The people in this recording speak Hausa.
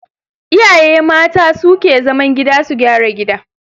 Iyaye mata su ke zaman gida su gyara gida.